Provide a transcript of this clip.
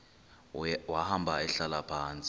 wahamba ehlala phantsi